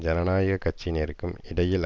ஜனநாயக கட்சியினருக்கும் இடையில்